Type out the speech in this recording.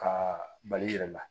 Ka bali i yɛrɛ la